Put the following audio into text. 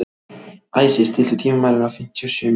Æsir, stilltu tímamælinn á fimmtíu og sjö mínútur.